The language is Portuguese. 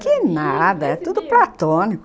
Que nada, é tudo platônico.